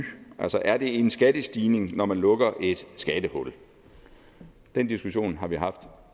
altså er det en skattestigning når man lukker et skattehul den diskussion har vi haft